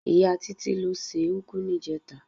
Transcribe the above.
Ìyá Títí ló se úgú níjẹta.